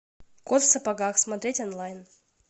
кот в сапогах смотреть онлайн